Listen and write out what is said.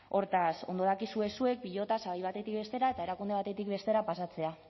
hortaz ondo dakizue zuek pilota sabai batetik bestera eta erakunde batetik bestera pasatzea